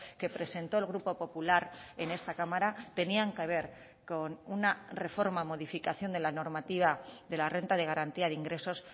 que presentó el grupo popular en esta cámara tenían que ver con una reforma modificación de la normativa de la renta de garantía de ingresos